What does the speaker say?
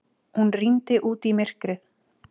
Hún rýndi út í myrkrið.